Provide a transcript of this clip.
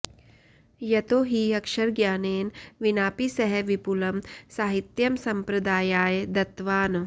यतो हि अक्षरज्ञानेन विनापि सः विपुलं साहित्यं सम्प्रदायाय दत्तवान्